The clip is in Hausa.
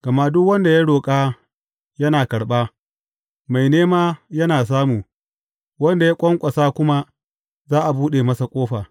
Gama duk wanda ya roƙa, yana karɓa, mai nema yana samu, wanda ya ƙwanƙwasa kuma, za a buɗe masa ƙofa.